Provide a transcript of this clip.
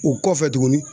O kɔfɛ tuguni